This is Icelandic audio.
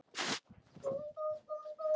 Sem kalla svo aftur á sígarettu.